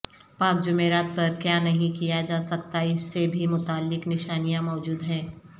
پاک جمعرات پر کیا نہیں کیا جا سکتا اس سے بھی متعلق نشانیاں موجود ہیں